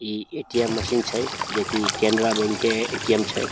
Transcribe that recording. इ ATM machine छै जेई कि केनरा बैंक के ए.टी.एम छै।